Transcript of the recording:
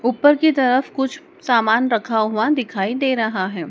ऊपर की तरफ कुछ सामान रखा हुआ दिखाई दे रहा है।